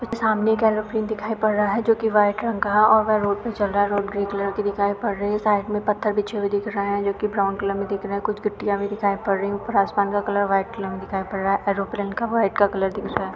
सामने एक एरोप्लेन दिखाई पड़ रहा है जो की व्हाइट रंग का है और वह रोड पे चल रहा है रोड ग्रे कलर की दिखाई पड़ रही है साइड में पत्थर बीछे हुए दिख रहे हैं जो की ब्राउन कलर में दिख रहे हैं कुछ गिट्टियाँ भी दिखाई पड़ रही हैं ऊपर आसमान का कलर व्हाइट कलर में दिखाई पड़ रहा है एरोप्लेन का व्हाइट का कलर दिख रहा है।